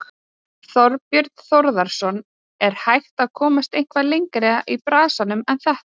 Þorbjörn Þórðarson: Er hægt að komast eitthvað lengra í bransanum en þetta?